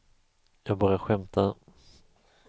jag bara skämtade